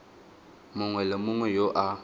mongwe le mongwe yo a